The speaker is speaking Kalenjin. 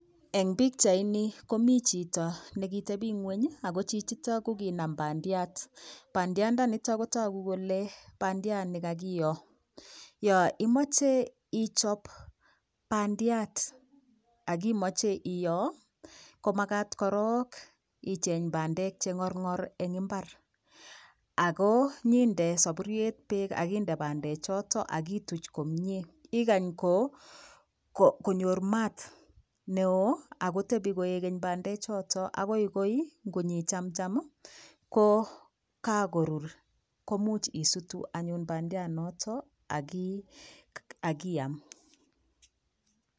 Eng pikchaini komi chito nekitebingweny ako chichoto kokinam bandiat, bandiandanito kotoku kole bandiat nekakiyoo yo imoche ichop bandiat akimoche iyoo komakat korok icheng bandek chengorngor eng imbar akonyinde sapuriet peek akonyinde bandechoto akituch komyee ikany konyor maat neoo akotepi koekeny bande choto akoi koingichamcham kokakorur komuch isutu anyun bandiat noto akiam.